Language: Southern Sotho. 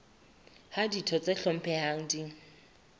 ha ditho tse hlomphehang di